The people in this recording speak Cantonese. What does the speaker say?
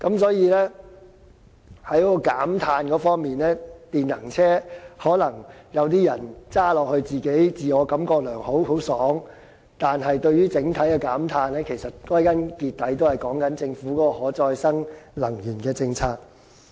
所以，在減碳方面，或許有些人駕駛電能車時自我感良好，但對於整體減碳效果，其實歸根究底都是關乎政府的可再生能源政策而定。